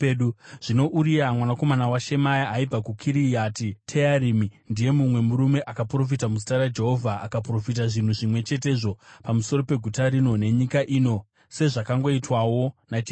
(Zvino Uria mwanakomana waShemaya aibva kuKiriati Tearimi ndiye mumwe murume akaprofita muzita raJehovha; akaprofita zvinhu zvimwe chetezvo pamusoro peguta rino nenyika ino sezvakangoitwawo naJeremia.